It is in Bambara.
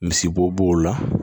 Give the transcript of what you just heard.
Misibo bo o la